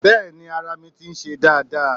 Bẹ́ẹ̀ni ara mi ti ń se dáadáa